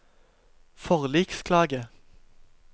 forliksklage